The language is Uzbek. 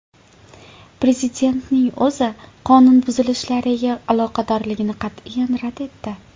Prezidentning o‘zi qonunbuzilishlariga aloqadorligini qat’iyan rad etdi.